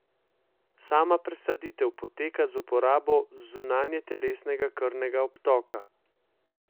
Sama presaditev poteka z uporabo zunajtelesnega krvnega obtoka.